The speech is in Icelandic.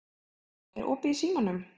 Helmút, er opið í Símanum?